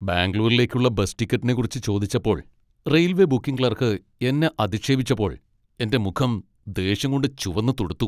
ബാംഗ്ലൂരിലേക്കുള്ള bus ടിക്കറ്റിനെക്കുറിച്ച് ചോദിച്ചപ്പോൾ railway booking clerk എന്നെ അധിക്ഷേപിച്ചപ്പോൾ എന്റെ മുഖം ദേഷ്യം കൊണ്ട് ചുവന്നു തുടുത്തു .